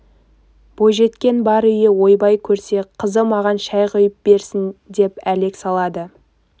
бойжеткен бар үйі ойбай көрсе қызы маған шай құйып берсін деп әлек салады